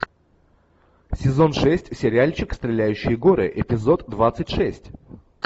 сезон шесть сериальчик стреляющие горы эпизод двадцать шесть